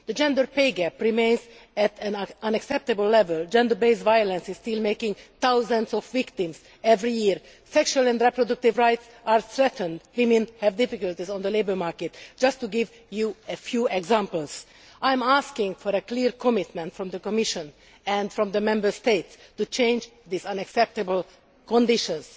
The gender pay gap remains at an unacceptable level, gender based violence is still taking thousands of victims every year, sexual and reproductive rights are threatened, women have difficulties on the labour market just to give you a few examples. I am asking for a clear commitment from the Commission and from the Member States to change these unacceptable conditions.